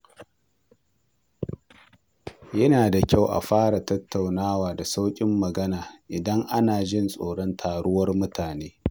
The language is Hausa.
Yana da kyau a fara tattaunawa da sauƙin magana idan ana jin tsoron taruwar mutane.